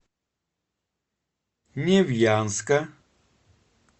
невьянска